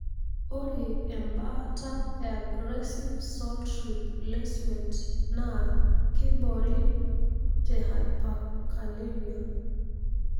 ore embaata e aggressive salt replacement na kibori te hyperkalemia.